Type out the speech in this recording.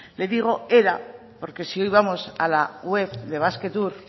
le digo era porque si hoy vamos a la web de basquetour